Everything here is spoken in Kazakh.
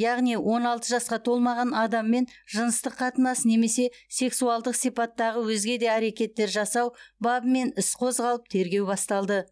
яғни он алты жасқа толмаған адаммен жыныстық қатынас немесе сексуалдық сипаттағы өзге де әрекеттер жасау бабымен іс қозғалып тергеу басталды